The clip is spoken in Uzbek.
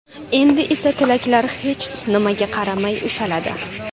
Endi esa tilaklar hech nimaga qaramay ushaladi.